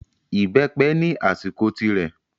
Ìbẹ́pẹ ni àsìkò tirẹ̀.